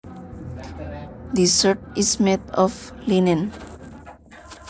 This shirt is made of linen